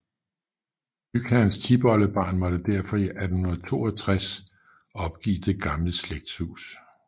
Bygherrens tipoldebarn måtte derfor i 1862 opgive det gamle slægtshus